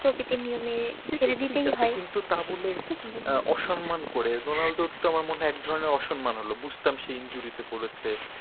প্রকৃতির নিয়মে সে দিতেই হয়। কিন্তু তা বলে অসম্মান করে রোনালদোর তো আমার মনে হয় একধরনের অসম্মান হল। বুঝতাম সে injury তে পড়েছে।